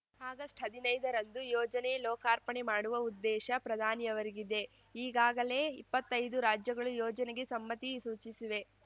ಆಗಸ್ಟ್ಹದಿನೈದರಂದು ಯೋಜನೆ ಲೋಕಾರ್ಪಣೆ ಮಾಡುವ ಉದ್ದೇಶ ಪ್ರಧಾನಿಯವರಿಗಿದೆ ಈಗಾಗಲೇ ಇಪ್ಪತ್ತೈದು ರಾಜ್ಯಗಳು ಯೋಜನೆಗೆ ಸಮ್ಮತಿ ಸೂಚಿಸಿವೆ